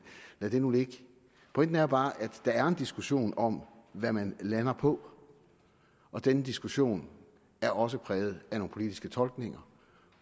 lad det nu ligge pointen er bare at der er en diskussion om hvad man lander på og denne diskussion er også præget af nogle politiske tolkninger